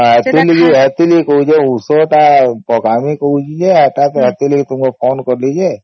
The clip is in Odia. ହଁ ସେଥିଲାଗି କହୁଛି ଯେ ଔଷଧ ତ ପକମି କହୁଛେ ଯେ ଏଟା actually ତମକୁ ଫୋନ କଲି ଯେ